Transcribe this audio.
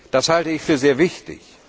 Das halte ich für sehr wichtig.